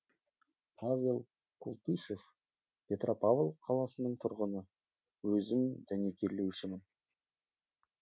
павел култышев петропавл қаласының тұрғыны өзім дәнекерлеушімін